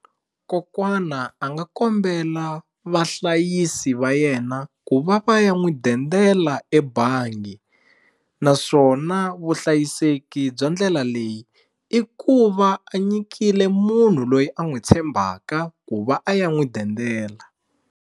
Kokwana a nga kombela vahlayisi va yena ku va va ya n'wi dendela ebangi naswona vuhlayiseki bya ndlela leyi i ku va a nyikile munhu loyi a n'wi tshembaka ku va a ya n'wi dendela.